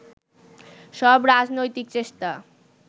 সব রাজনৈতিক চেষ্টা